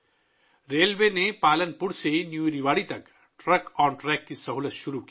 railway نے Palanpur سے new Rewari تک ٹرک آن ٹریک کی سہولت شروع کی